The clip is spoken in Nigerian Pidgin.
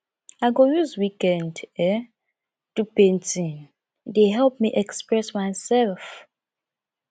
i go use weekend um do painting e dey help me express myself